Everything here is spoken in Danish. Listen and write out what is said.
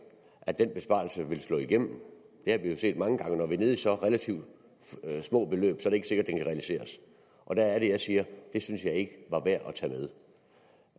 at den besparelse vil slå igennem vi har jo set mange gange at når vi er nede i så relativt små beløb er det ikke sikkert kan realiseres og der er det jeg siger det synes jeg ikke